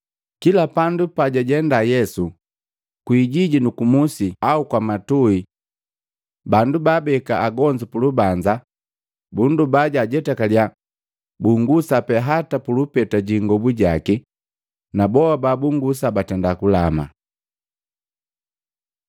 Kila pandu pajajenda Yesu, kwiijijini nu kumusi au kwamatui. Bandu babeka agonzu pulubanza, bundoba jajetakalya bungusa pe hata pu lupeta ji ingobu jaki. Na boa babungusa batenda kulama.